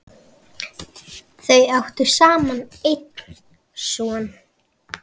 Þau áttu saman einn son.